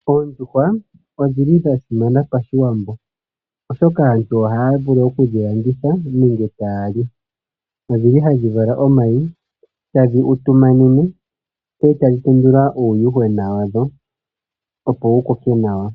Oondjuhwa odhili dha simana pashiwambo oshoka aantu ohaa vulu oku dhi landitha nenge taya li . Odhi li hadhi vala omayi ,tadhi utumanene ndele tayi tendula uundjuhwena wa dho, opo wu koke nawa.